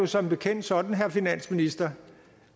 som bekendt sådan herre finansminister